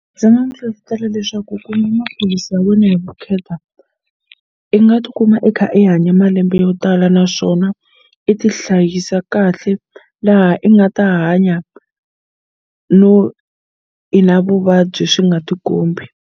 Ndzi nga n'wu hlohletela leswaku ku nwa maphilisi ya wena hi vukheta i nga tikuma i kha i hanye malembe yo tala naswona i ti hlayisa kahle laha i nga ta hanya no i na vuvabyi swi nga tikombi.